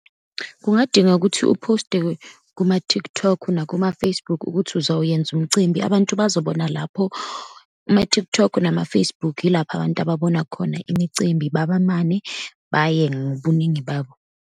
Kungadinga ukuthi uphoste kuma-TikTok, nakuma-Facebook, ukuthi uzawuyenza umcimbi, abantu bazobona lapho. Ama-TikTok, nama-Facebook, yilapho abantu ababona khona imicimbi babamane baye ngobuningi babo.